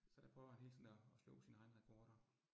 Så jeg prøver han hele tiden at at slå sine egne rekorder